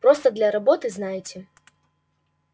просто для работы знаете